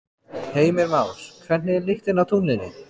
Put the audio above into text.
Heimir Már: Hvernig er lyktin á tunglinu?